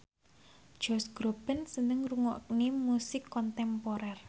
Josh Groban seneng ngrungokne musik kontemporer